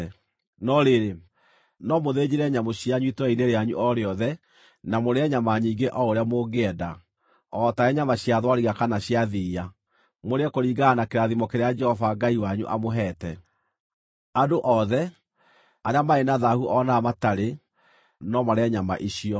No rĩrĩ, no mũthĩnjĩre nyamũ cianyu itũũra-inĩ rĩanyu o rĩothe na mũrĩe nyama nyingĩ o ũrĩa mũngĩenda, o taarĩ nyama cia thwariga kana cia thiiya, mũrĩe kũringana na kĩrathimo kĩrĩa Jehova Ngai wanyu amũheete. Andũ othe, arĩa marĩ na thaahu o na arĩa matarĩ, no marĩe nyama icio.